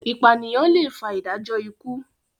ipaniyan lẹ fà ìdájọ ikú.